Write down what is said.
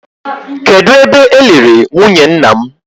Kedụ ebe e liri nwunye nna m?